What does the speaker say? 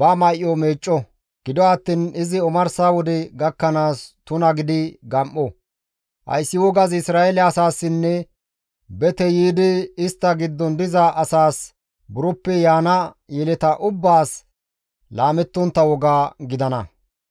ba may7o meecco; gido attiin izi omarsa wode gakkanaas tuna gidi gam7o; hayssi wogazi Isra7eele asaassinne bete yiidi istta giddon diza asaas buroppe yaana yeleta ubbaas laamettontta woga gidana.